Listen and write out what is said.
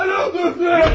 Mən öldürdüm!